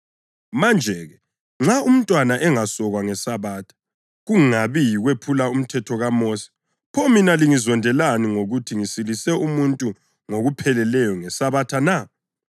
Manje-ke, nxa umntwana engasokwa ngeSabatha kungabi yikuwephula umthetho kaMosi, pho mina lingizondelani ngokuthi ngisilise umuntu ngokupheleleyo ngeSabatha na?